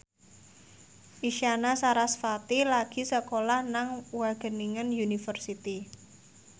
Isyana Sarasvati lagi sekolah nang Wageningen University